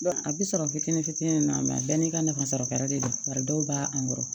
a bi sɔrɔ fitini fitini na bɛɛ n'i ka nafa sara kɛra de don bari dɔw b'a wɔrɔn